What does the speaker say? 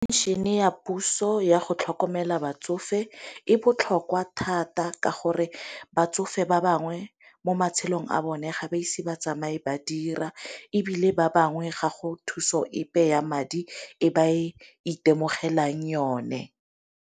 Phenšene ya puso ya go tlhokomela batsofe e botlhokwa thata ka gore batsofe ba bangwe mo matshelong a bone ga ba ise ba tsamaye ba dira, ebile ba bangwe gago thuso epe ya madi e ba e itemogelang yone.